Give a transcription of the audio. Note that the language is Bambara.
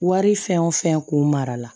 Wari fɛn o fɛn kun mara la